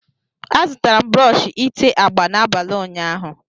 A zụtara m brọsh ité agba n'abalị ụnyaahụ.